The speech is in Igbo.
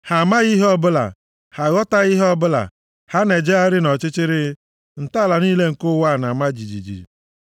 Ha + 82:5 Maọbụ, chi ndị a amaghị ihe ọbụla, ha aghọtaghị ihe ọbụla. Ha na-ejegharị nʼọchịchịrị; ntọala niile nke ụwa na-ama jijiji.